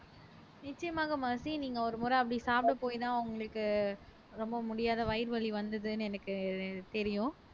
நிச்சயமாக மெர்சி நீங்க ஒருமுறை அப்படி சாப்பிட போயிதான் உங்களுக்கு ரொம்ப முடியாத வயிறு வலி வந்ததுன்னு எனக்கு தெரியும்